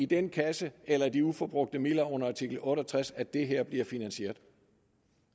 den kasse eller de uforbrugte midler under artikel otte og tres at det her bliver finansieret